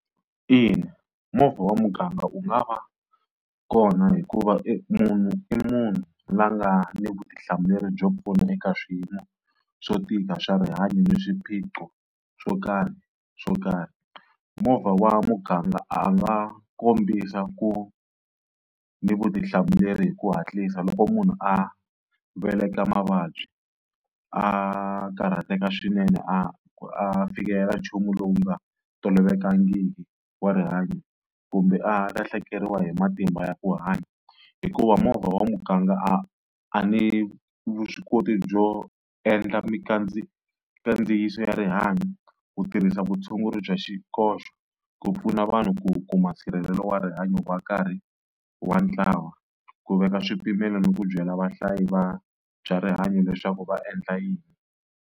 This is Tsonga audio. Ina, movha wa muganga wu nga va kona hikuva i munhu i munhu la nga ni vutihlamuleri byo pfuna eka swiyimo swo tika swa rihanyo ni swiphiqo swo karhi swo karhi. Movha wa muganga a nga kombisa ku ni vutihlamuleri hi ku hatlisa loko munhu a veleka mavabyi a, karhateka swinene a phikelela nchumu lowu nga tolovelekangiki wa rihanyo kumbe a lahlekeriwa hi matimba ya ku hanya. Hikuva movha wa muganga a a ni vuswikoti byo endla mikandziyiso ya rihanyo, ku tirhisa vutshunguri bya xikoxo, ku pfuna vanhu ku kuma nsirhelelo wa rihanyo wa karhi wa ntlawa, ku veka swipimelo ni ku byela vahlayi va rihanyo leswaku va endla yini.